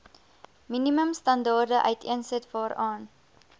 minimumstandaarde uiteensit waaraan